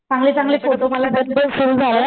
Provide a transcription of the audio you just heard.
चांगले चांगले फोटो मला